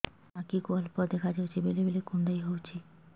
ଆଖି କୁ ଅଳ୍ପ ଦେଖା ଯାଉଛି ବେଳେ ବେଳେ କୁଣ୍ଡାଇ ହଉଛି